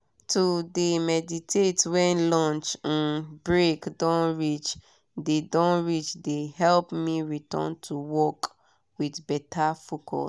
to de meditate when lunch um break don reach de don reach de help me return to work with better focus.